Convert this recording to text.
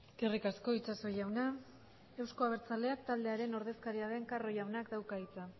eskerrik asko itxaso jauna euzko abertzaleak taldearen ordezkaria den carro jaunak dauka hitza